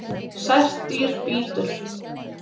Sært dýr bítur